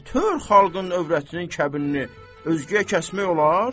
Nə tər xalqın övrətinin kəbinini özgəyə kəsmək olar?